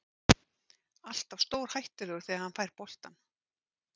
Alltaf stórhættulegur þegar hann fær boltann.